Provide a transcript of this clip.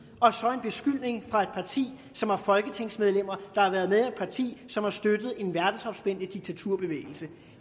og så en beskyldning fra et parti som har folketingsmedlemmer der har været med i et parti som har støttet en verdensomspændende diktaturbevægelse